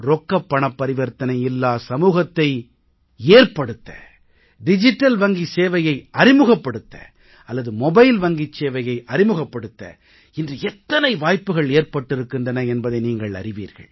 ரொக்கப் பணப் பரிவர்த்தனை இல்லா சமூகத்தை ஏற்படுத்த டிஜிட்டல் வங்கி சேவையை அறிமுகப்படுத்த அல்லது மொபைல் வங்கிச் சேவையை அறிமுகப்படுத்த இன்று எத்தனை வாய்ப்புக்கள் ஏற்பட்டிருக்கின்றன என்பதை நீங்கள் அறிவீர்கள்